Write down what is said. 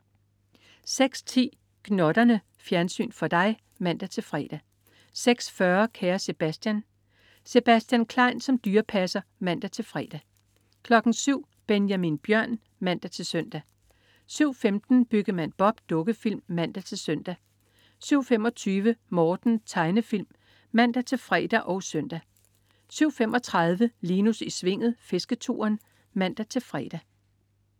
06.10 Gnotterne. Fjernsyn for dig (man-fre) 06.40 Kære Sebastian. Sebastian Klein som dyrepasser (man-fre) 07.00 Benjamin Bjørn (man-søn) 07.15 Byggemand Bob. Dukkefilm (man-søn) 07.25 Morten. Tegnefilm (man-fre og søn) 07.35 Linus i Svinget. Fisketuren (man-fre)